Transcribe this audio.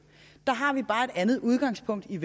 om det er